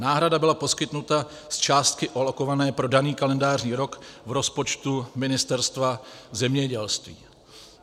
Náhrada byla poskytnuta z částky alokované pro daný kalendářní rok v rozpočtu Ministerstva zemědělství.